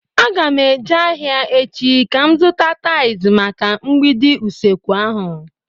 Aga m eje ahịa echi ka m zụta tais maka mgbidi usekwu ahu